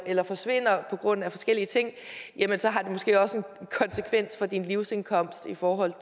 eller forsvinder på grund af forskellige ting har det måske også en konsekvens for din livsindkomst i forhold